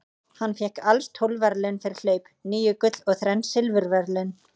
Hann fékk alls tólf verðlaun fyrir hlaup, níu gull og þrenn silfurverðlaun.